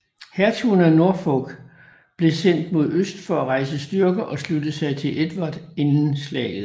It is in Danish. Hertugen af Norfolk blev sendt mod øst for at rejse styrker og slutte sig til Edvard inden slaget